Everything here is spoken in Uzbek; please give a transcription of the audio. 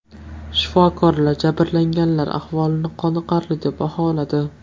Shifokorlar jabrlanganlar ahvolini qoniqarli deb baholadi.